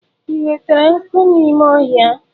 Ị nwetara nkụ n'ime ọhịa?